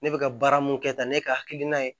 Ne bɛ ka baara mun kɛ tan ne ka hakilina ye